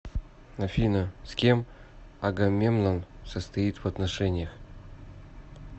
афина с кем агамемнон состоит в отношениях